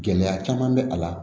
Gɛlɛya caman bɛ a la